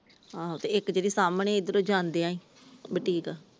ਆਹੋ ਤੇ ਇੱਕ ਜਿਹੜੀ ਸਾਮਣੇ ਈ ਇਧਰੋਂ ਈ ਜਾਂਦੀਆਂ ਬੁਟੀਕ ।